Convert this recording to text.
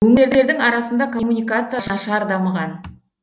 өңірлердің арасында коммуникация нашар дамыған